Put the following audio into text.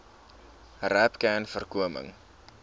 rapcanvoorkoming